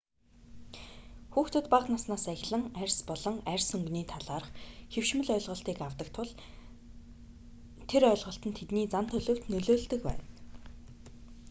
хүүхдүүд бага наснаасаа эхлэн арьс болон арьс өнгний талаарх хэвшмэл ойлголтыг аьдаг тул тэр ойлголт нь тэдний зан төлөвт нөлөөлдөг байна